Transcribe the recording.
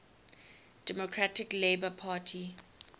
democratic labour party